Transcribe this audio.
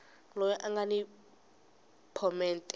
loyi a nga ni phomete